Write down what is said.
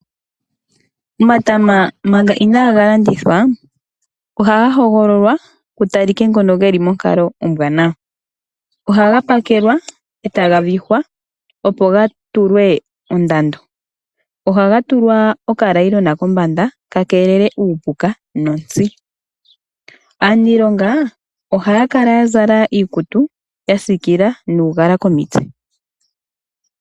Omatama manga inaaga landithwa ohaga hogololwa ku talike ngono ge li monkalo ombwanawa. Ohaga pakelwa, e taga vihwa, opo ga tulwe ondando. Ohaga tulwa okanailona kombanda, opo ka keelele uupuka nontsi. Aaniilonga ohaya kala ya zala iikutu ya siikila nuugala komitse.